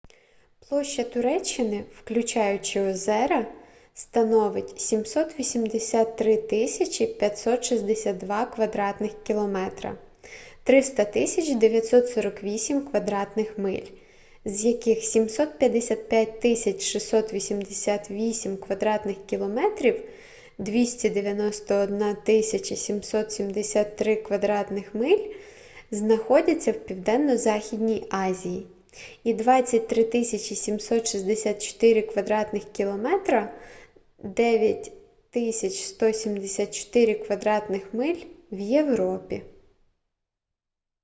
площа туреччини включаючи озера становить 783 562 кв. км 300 948 кв. миль з яких 755 688 кв. км 291 773 кв. миль знаходяться в південно-західній азії і 23 764 кв. км 9 174 кв. миль — в європі